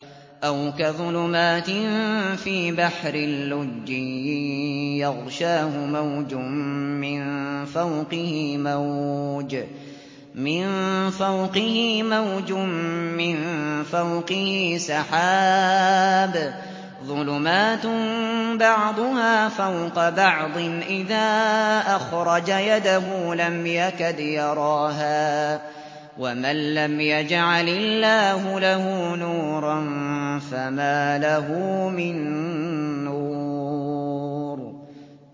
أَوْ كَظُلُمَاتٍ فِي بَحْرٍ لُّجِّيٍّ يَغْشَاهُ مَوْجٌ مِّن فَوْقِهِ مَوْجٌ مِّن فَوْقِهِ سَحَابٌ ۚ ظُلُمَاتٌ بَعْضُهَا فَوْقَ بَعْضٍ إِذَا أَخْرَجَ يَدَهُ لَمْ يَكَدْ يَرَاهَا ۗ وَمَن لَّمْ يَجْعَلِ اللَّهُ لَهُ نُورًا فَمَا لَهُ مِن نُّورٍ